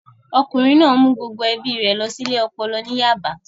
Ọkùnrin náà mú gbogbo ẹbí rẹ̀ lọ sí ilé ọpọlọ ní Yaba